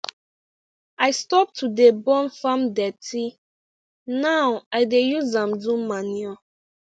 i stop to dey burn farm dirty now i dey use am do manure